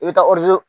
I bɛ taa